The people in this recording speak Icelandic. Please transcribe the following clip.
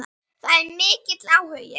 Það er mikill áhugi.